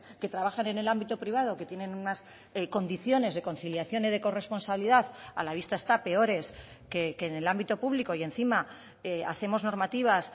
que trabajan en el ámbito privado que tienen unas condiciones de conciliación y de corresponsabilidad a la vista está peores que en el ámbito público y encima hacemos normativas